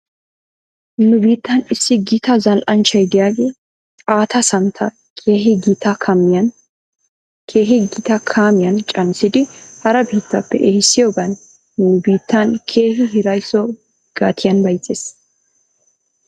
Nu biittan issi gita zal"anchchy diyaagee xaatta santta keehi gita kaamiyan caanissidi hara biittappe ehissiyoogan nu biittan keehi hiraysso gatiyan bayzzes.